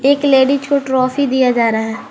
एक लेडीज को ट्रॉफी दिया जा रहा है।